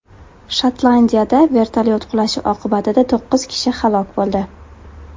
Shotlandiyada vertolyot qulashi oqibatida to‘qqiz kishi halok bo‘ldi.